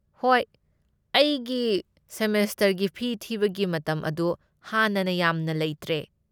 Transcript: ꯍꯣꯏ, ꯑꯩꯒꯤ ꯁꯦꯃꯦꯁꯇꯔꯒꯤ ꯐꯤ ꯊꯤꯕꯒꯤ ꯃꯇꯝ ꯑꯗꯨ ꯍꯥꯟꯅꯅ ꯌꯥꯝꯅ ꯂꯩꯇ꯭ꯔꯦ꯫